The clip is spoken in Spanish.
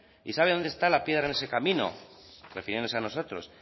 y sabe dónde está la piedra en esa camino refiriéndose a nosotros